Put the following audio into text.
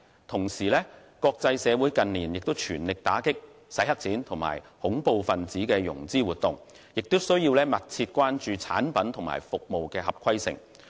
同時，國際社會近年全力打擊"洗黑錢"及恐怖分子融資活動，亦需要密切關注產品和服務合規性。